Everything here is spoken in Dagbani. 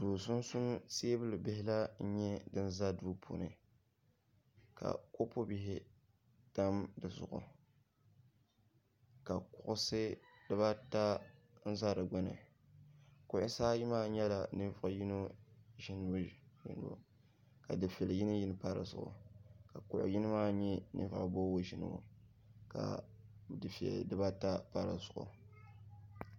Duu sunsuuni teebuli bihi la n nyɛ din za duu puuni ka kopu bihi tam dizuɣu ka kuɣusi dibaata za di gbini kuɣusi ayi maa nyɛla ninvuɣu yino ʒinibu ka dufeli yiniyini pa dizuɣu ka kuɣu yini maa nyɛ ninvuɣu bobgu ʒinibu ka dufeya dibaata pa dizuɣu.